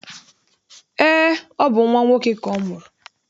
Eé, ọ bụ nnwa nwoke ka ọ mụrụ.